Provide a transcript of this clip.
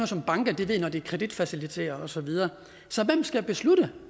som banker ved når de kreditfaciliterer og så videre så hvem skal beslutte